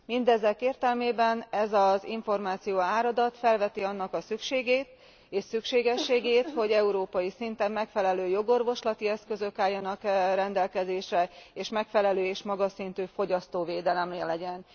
Mindezek értelmében ez az információáradat felveti annak a szükségét és szükségességét, hogy európai szinten megfelelő jogorvoslati eszközök álljanak rendelkezésre, és megfelelő és magas szintű fogyasztóvédelem legyen.